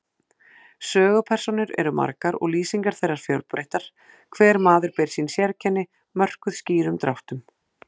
Sögupersónur eru margar og lýsingar þeirra fjölbreyttar, hver maður ber sín sérkenni, mörkuð skýrum dráttum.